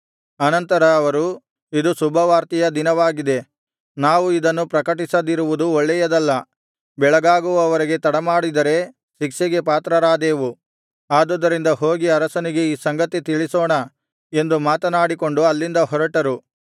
ಅನಂತರ ಅವರು ಇದು ಶುಭವಾರ್ತೆಯ ದಿನವಾಗಿದೆ ನಾವು ಇದನ್ನು ಪ್ರಕಟಿಸದಿರುವುದು ಒಳ್ಳೇಯದಲ್ಲ ಬೆಳಗಾಗುವವರೆಗೆ ತಡಮಾಡಿದರೆ ಶಿಕ್ಷೆಗೆ ಪಾತ್ರರಾದೇವು ಆದುದರಿಂದ ಹೋಗಿ ಅರಸನಿಗೆ ಈ ಸಂಗತಿ ತಿಳಿಸೋಣ ಎಂದು ಮಾತನಾಡಿಕೊಂಡು ಅಲ್ಲಿಂದ ಹೊರಟರು